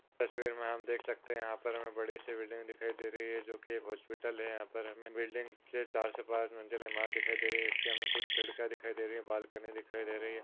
तस्वीर मे हम देख सकते है यहा पर हमे बड़ी सी बिल्डिंग दिखाई दे रही है जोकि एक हॉस्पिटल है यहाँ पर हमे बिल्डिंग चार से पाँच मंजिल दिखाई दे रही है इसलिए हमे खिड़किया दिखाई दे रही है बालकनी दिखाई दे रही है।